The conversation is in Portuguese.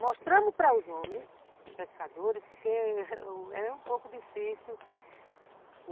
Mostramos para os homens pescadores, porque é um pouco difícil.